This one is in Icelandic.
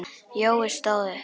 Jói stóð upp.